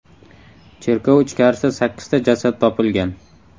Cherkov ichkarisida sakkizta jasad topilgan.